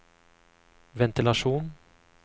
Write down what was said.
ventilasjon